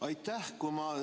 Aitäh!